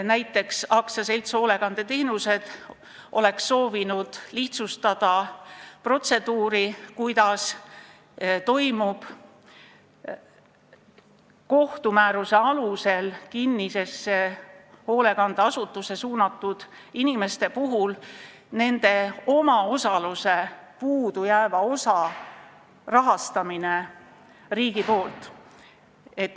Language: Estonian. Näiteks oleks AS Hoolekandeteenused soovinud lihtsustada protseduuri, kuidas toimub kohtumääruse alusel kinnisesse hoolekandeasutusse suunatud inimeste puhul nende omaosaluse kinnipidamine.